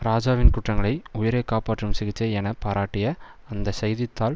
இராஜாவின் குற்றங்களை உயிரை காப்பாற்றும் சிகிச்சை என பாராட்டிய அந்த செய்தி தாள்